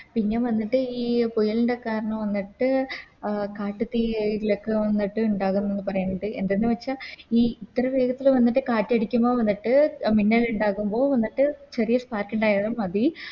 പിന്നെ വന്നിട്ട് ഈ മുയലിൻറെ കാരണം അഹ് വന്നിട്ട് കാട്ട് തീ ലേക്ക് വന്നിട്ട് ഇണ്ടാകും എന്ന് പറയ്ണ്ണ്ട് എന്തെന്ന് വെച്ച ഈ ഇത്തറ വേഗത്തില് വന്നിട്ട് കാറ്റടിക്കുമ്പോ വന്നിട്ട് അഹ് മിന്നലിണ്ടാകുമ്പോ വന്നിട്ട് ചെറിയ Spark ഇണ്ടായാലും മതി